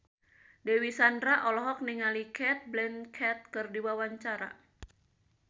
Dewi Sandra olohok ningali Cate Blanchett keur diwawancara